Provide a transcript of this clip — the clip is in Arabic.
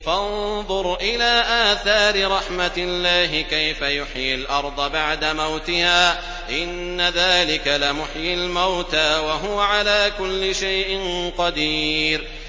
فَانظُرْ إِلَىٰ آثَارِ رَحْمَتِ اللَّهِ كَيْفَ يُحْيِي الْأَرْضَ بَعْدَ مَوْتِهَا ۚ إِنَّ ذَٰلِكَ لَمُحْيِي الْمَوْتَىٰ ۖ وَهُوَ عَلَىٰ كُلِّ شَيْءٍ قَدِيرٌ